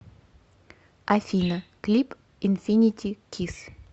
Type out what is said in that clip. афина клип инфинити кисс